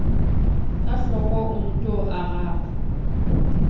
ka hloko o nto araba